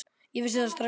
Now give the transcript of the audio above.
Ég vissi það strax þá.